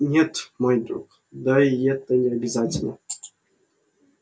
нет мой друг да и это и не обязательно